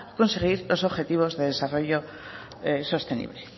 conseguir los objetivos de desarrollo sostenible